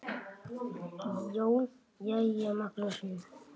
JÓN: Jæja, Magnús minn!